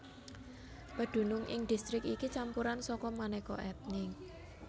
Pedunung ing distrik iki campuran saka manéka ètnik